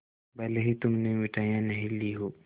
भले ही तुमने मिठाई नहीं ली हो